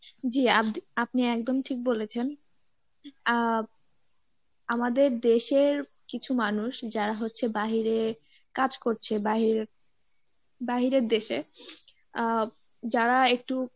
জী আপ~ আপনি একদম ঠিক বলেছেন আহ আমাদের দেশের কিছু মানুষ যারা হচ্ছে বাহিরে কাজ করছে বাহিরে বাহিরের দেশে আহ যারা একটু